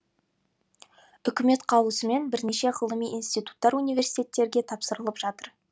үкімет қаулысымен бірнеше ғылыми институттар университеттерге тапсырылып жатыр